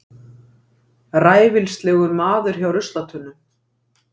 Ræfilslegur maður hjá ruslatunnum.